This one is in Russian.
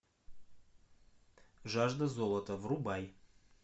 жажда золота врубай